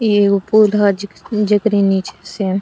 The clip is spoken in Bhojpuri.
ई एगो पुल ह जेक जेकरी नीचे से --